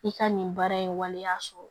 I ka nin baara in waleya sɔrɔ